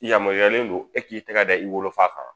I yamaruyalen don e k'i tɛgɛ da i wolofa kan